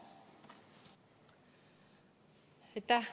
Aitäh!